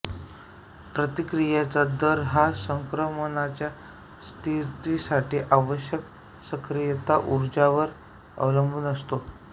प्रतिक्रियाचा दर हा संक्रमणाच्या स्थितीसाठी आवश्यक सक्रियता ऊर्जावर अवलंबून असतो